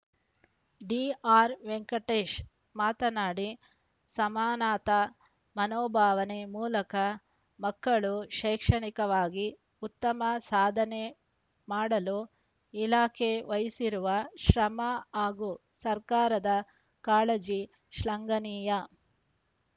ಡಿಆರ್‌ವೆಂಕಟೇಶ್‌ ಮಾತನಾಡಿ ಸಮಾನತಾ ಮನೋಭಾವನೆ ಮೂಲಕ ಮಕ್ಕಳು ಶೈಕ್ಷಣೆಕವಾಗಿ ಉತ್ತಮ ಸಾಧನೆ ಮಾಡಲು ಇಲಾಖೆ ವಹಿಸಿರುವ ಶ್ರಮ ಹಾಗೂ ಸರ್ಕಾರದ ಕಾಳಜಿ ಶ್ಲಾಗನೀಯ